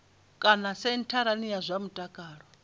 kana sentharani ya zwa mutakalo